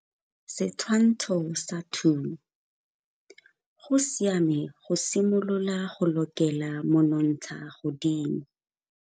Setshwantsho sa 2 - Go siame go simolola go lokela monontshagodimo.